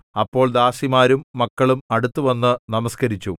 അപ്പോൾ ദാസിമാരും മക്കളും അടുത്തുവന്നു നമസ്കരിച്ചു